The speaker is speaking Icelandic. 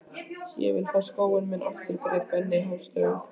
Ég vil fá skóinn minn aftur grét Benni hástöfum.